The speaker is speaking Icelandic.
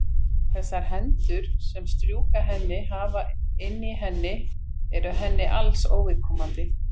Þessar hendur sem strjúka henni, kafa inn í henni eru henni alls óviðkomandi.